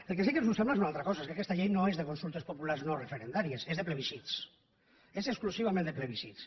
el que sí que ens sembla és una altra cosa és que aquesta llei no és de consultes populars no referendàries és de plebiscits és exclusivament de plebiscits